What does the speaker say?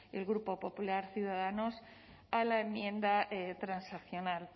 el grupo popular ciudadanos a la enmienda transaccional